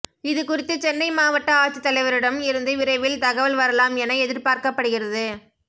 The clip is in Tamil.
இதுகுறித்து சென்னை மாவட்ட ஆட்சித்தலைவரிடம் இருந்து விரைவில் தகவல் வரலாம் என எதிர்பார்க்கப்படுகிறது